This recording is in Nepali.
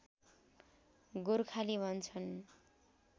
गोर्खाली भन्छन्